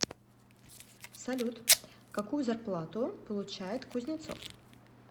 салют какую зарплату получает кузнецов